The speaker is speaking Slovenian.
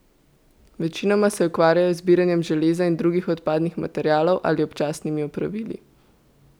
Večinoma se ukvarjajo z zbiranjem železa in drugih odpadnih materialov ali občasnimi opravili.